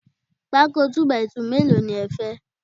Pákó 2 by 2 mélòó ni ẹ fẹ́?